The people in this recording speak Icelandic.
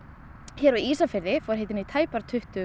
hér á Ísafirði fór hitinn í tæp tuttugu